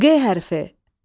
Q hərfi.